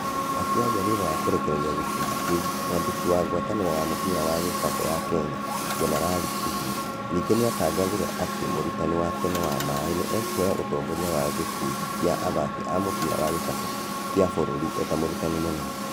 Akĩaria thutha wa kũrekereria gĩkũndi kĩũ mwandĩki wa ngwatanĩro ya mũbira wa gĩkabũ ya Kenya Jenerari Kĩhiũ ningĩ nĩatangathire atĩ mũrutani wa tene Wamaĩ nĩ ekuoya utongoria wa gĩkundi kĩa athaki a mubira wa gĩkabũ kĩa bũrũri eta mũrutani mũnene.